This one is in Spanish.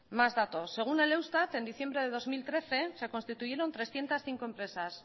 mas datos según el eustat en diciembre de dos mil trece se constituyeron trescientos cinco empresas